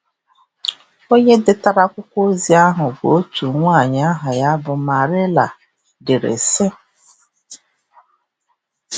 Onye detara akwụkwọ ozi ahụ bụ otu nwaanyị aha ya bụ Marília, dere, sị: